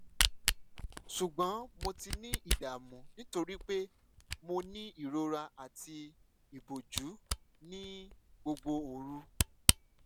ṣùgbọn mo ti ní ìdààmú nítorí pé mo ní ìrora àti ìbòjú ní gbogbo òru